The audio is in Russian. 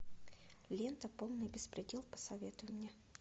лента полный беспредел посоветуй мне